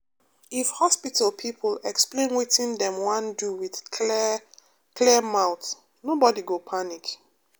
if hospital people explain wetin dem wan do with clear clear mouth nobody go panic.